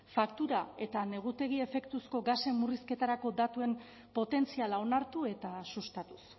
faktura eta negutegi efektuko gasen murrizketarako datuen potentziala onartu eta sustatuz